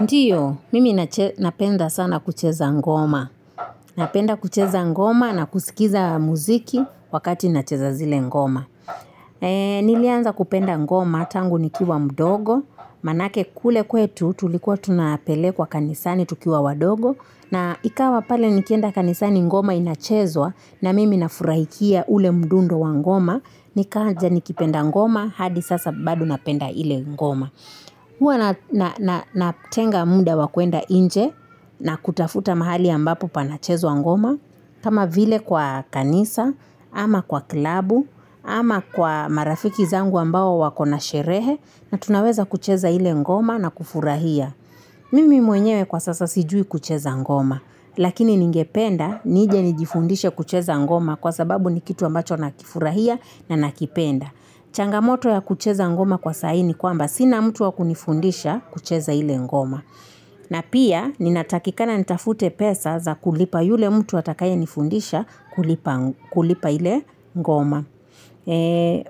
Ndio, mimi napenda sana kucheza ngoma. Napenda kucheza ngoma na kusikiza muziki wakati nacheza zile ngoma. Nilianza kupenda ngoma, tangu nikiwa mdogo, maanake kule kwetu tulikuwa tunapelekwa kanisani tukiwa wadogo. Na ikawa pale nikienda kanisani ngoma inachezwa na mimi nafurahikia ule mdundo wa ngoma. Nikaja nikipenda ngoma, hadi sasa bado napenda ile ngoma. Huwa natenga muda wa kuenda nje na kutafuta mahali ambapo panachezwa ngoma kama vile kwa kanisa ama kwa klabu ama kwa marafiki zangu ambao wako na sherehe, na tunaweza kucheza ile ngoma na kufurahia. Mimi mwenyewe kwa sasa sijui kucheza ngoma. Lakini ningependa nije nijifundishe kucheza ngoma kwa sababu ni kitu ambacho nakifurahia na nakipenda. Changamoto ya kucheza ngoma kwa saa hii ni kwamba sina mtu wa kunifundisha kucheza ile ngoma. Na pia ninatakikana nitafute pesa za kulipa yule mtu atakayenifundisha kulipa ile ngoma.